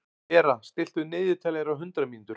Bera, stilltu niðurteljara á hundrað mínútur.